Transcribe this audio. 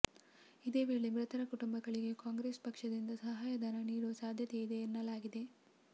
ಇದೇ ವೇಳೆ ಮೃತರ ಕುಟುಂಬಗಳಿಗೆ ಕಾಂಗ್ರೆಸ್ ಪಕ್ಷದಿಂದ ಸಹಾಯಧನ ನೀಡುವ ಸಾಧ್ಯತೆ ಇದೆ ಎನ್ನಲಾಗಿದೆ